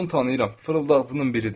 Mən onu tanıyıram, fırıldaqçının biridir.